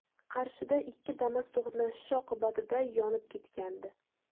Qarshida ikki Damas to‘qnashishi oqibatida yonib ketgandi .